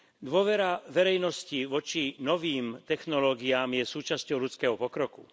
Dôvera verejnosti voči novým technológiám je súčasťou ľudského pokroku.